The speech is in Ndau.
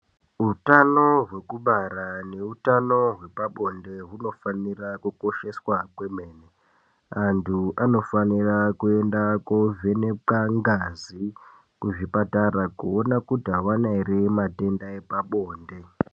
Utano hwekubara neutano hwepabonde hunofanira kukosheswa kwemene antu anofanira kuenda kovhenekwa ngazi kuzvipatara kuona kuti avana ere matenda epabonde.